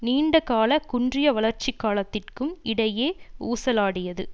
நீண்ட கால குன்றிய வளர்ச்சி காலத்திற்கும் இடையே ஊசலாடியது